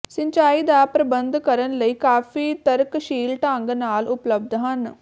ਸਿੰਚਾਈ ਦਾ ਪ੍ਰਬੰਧ ਕਰਨ ਲਈ ਕਾਫ਼ੀ ਤਰਕਸ਼ੀਲ ਢੰਗ ਨਾਲ ਉਪਲਬਧ ਹਨ